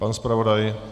Pan zpravodaj.